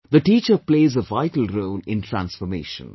The teacher plays a vital role in transformation